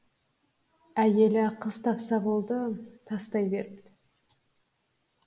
әйелі қыз тапса болды тастай беріпті